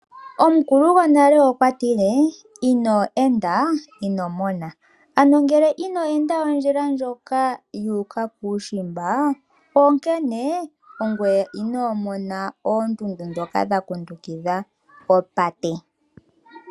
Omukulu gwonale okwatile; "ino enda, ino mona. " Ano ngele ino enda ondjila ndjoka yu uka kuushimba onkene ongoye inomona oondundu ndhoka dha kundukidha opate.